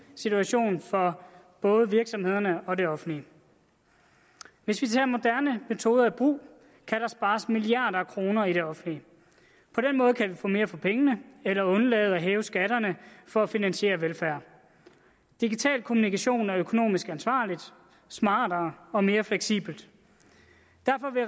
situation for både virksomhederne og det offentlige hvis vi tager moderne metoder i brug kan der spares milliarder af kroner i det offentlige på den måde kan vi få mere for pengene eller undlade at hæve skatterne for at finansiere velfærd digital kommunikation er økonomisk ansvarligt smartere og mere fleksibelt